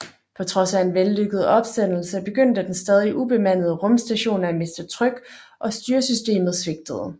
På trods af en vellykket opsendelse begyndte den stadig ubemandede rumstation at miste tryk og styresystemet svigtede